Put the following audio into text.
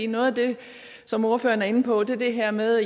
noget af det som ordføreren er inde på er det her med